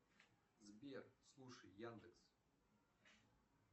сбер слушай яндекс